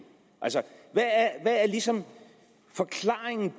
hvad er ligesom forklaringen